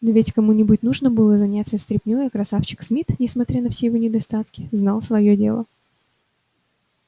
но ведь кому-нибудь нужно было заниматься стряпней а красавчик смит несмотря на все его недостатки знал своё дело